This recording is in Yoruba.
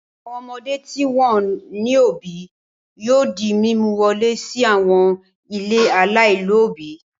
Àwọn ọmọdé tí wọn kò ní òbí yóò di mímú wọlé sí àwọn ilé aláìlóòbí.